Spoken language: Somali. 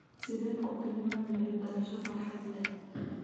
Sideed ku tilmaami lahayd dhalasho farxad leh?